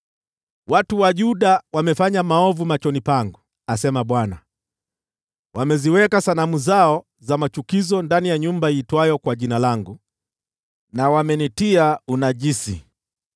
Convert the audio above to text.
“ ‘Watu wa Yuda wamefanya maovu machoni pangu, asema Bwana . Wameziweka sanamu zao za machukizo ndani ya nyumba iitwayo kwa Jina langu, na wameitia unajisi.